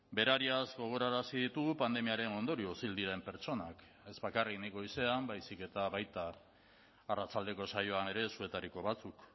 berariaz gogorarazi ditugu pandemiaren ondorioz hil diren pertsonak ez bakarrik nik goizean baizik eta baita arratsaldeko saioan ere zuetariko batzuk